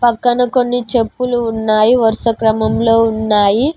పక్కన కొన్ని చెప్పులు ఉన్నాయి వరుస క్రమంలో ఉన్నాయి.